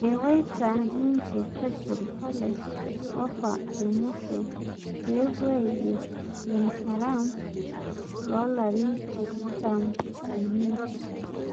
Ewoita nnye crystal palace ofa emusho peepuo aiger Benharam, lolarin tikitam omiet